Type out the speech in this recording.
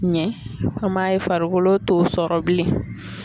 Ɲɛ an m'a ye farikolo t'o sɔrɔ bilen.